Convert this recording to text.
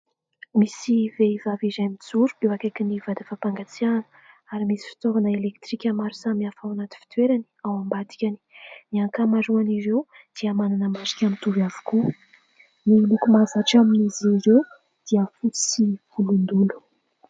Misy vehivavy iray mijoro eo akaikin'ny vata fampangatsiahana ary misy fitaovana elektrika maro samy hafa ao anaty fitoerany, ao am-badikany. Ny ankamaroan' ireo dia manana marika mitovy avokoa. Ny loko mahazatra amin'izy ireo dia fotsy sy volondolo.